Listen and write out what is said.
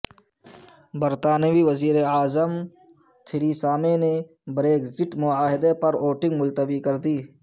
برطانوی وزیراعظم تھریسامے نے بریگزٹ معاہدے پر ووٹنگ ملتوی کردی